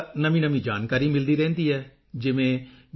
ਨਵੀਂ ਜਾਣਕਾਰੀ ਮਿਲਦੀ ਰਹਿੰਦੀ ਹੈ ਜਿਵੇਂ ਜੀ